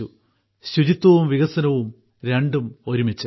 അതായത് ശുചിത്വവും വികസനവും രണ്ടും ഒരുമിച്ച്